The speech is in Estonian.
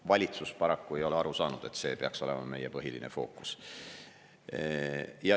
Valitsus paraku ei ole aru saanud, et see peaks olema meie põhiline fookus.